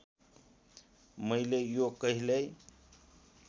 मैले यो कहिल्यै